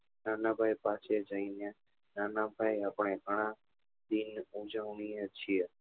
નાના ભાઈ પાસે જઈ ને નાના ભાઈ આપડે ગણા દિન ઉજવીએ છીએ